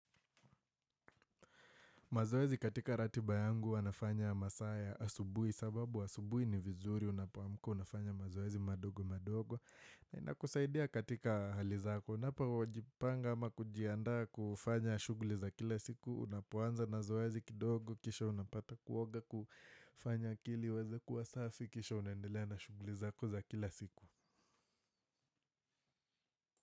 Mazoezi katika ratiba yangu huwa nafanya masaa ya asubuhi sababu asubuhi ni vizuri unapoamka unafanya mazoezi madogo madogo. Inakusaidia katika hali zako unapojipanga ama kujiandaa kufanya shughuli za kila siku unapoanza na zoezi kidogo kisha unapata kuoga kufanya akili iweze kuwa safi kisha unaendelea na shughuli zako za kila siku.